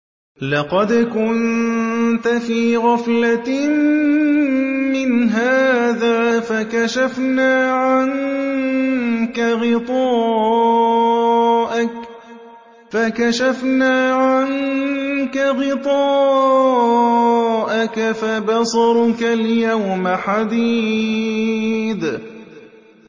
لَّقَدْ كُنتَ فِي غَفْلَةٍ مِّنْ هَٰذَا فَكَشَفْنَا عَنكَ غِطَاءَكَ فَبَصَرُكَ الْيَوْمَ حَدِيدٌ